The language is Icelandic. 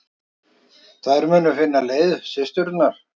Þær muni finna leið, systurnar.